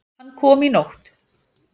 Hann kom í nótt.